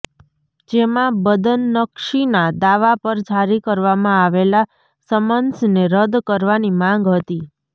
જેમાં બદનક્ષીના દાવા પર જારી કરવામાં આવેલા સમન્સને રદ કરવાની માંગ હતી